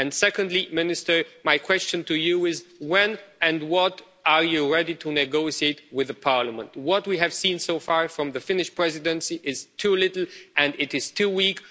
Secondly, Minister, my question to you is this when and what are you ready to negotiate with Parliament? What we have seen so far from the Finnish Presidency is too little, and it is too weak.